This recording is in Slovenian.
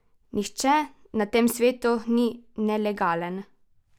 Nihče na tem svetu ni nelegalen!